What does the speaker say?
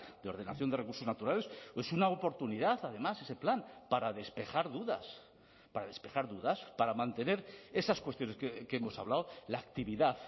de ordenación de recursos naturales es una oportunidad además ese plan para despejar dudas para despejar dudas para mantener esas cuestiones que hemos hablado la actividad